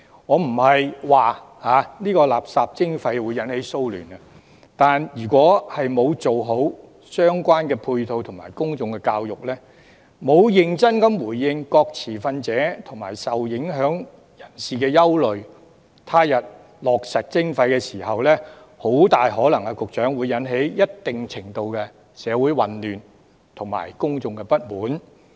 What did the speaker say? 我不是說垃圾徵費會引發騷亂，但如果沒有做好相關配套及公眾教育，沒有認真回應各持份者及受影響人士的憂慮，他日落實徵費時，局長，很大可能會引起一定程度的社會混亂及公眾不滿。